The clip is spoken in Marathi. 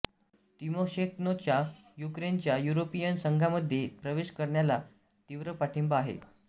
तिमोशेन्कोचा युक्रेनच्या युरोपियन संघामध्ये प्रवेश करण्याला तीव्र पाठिंबा आहे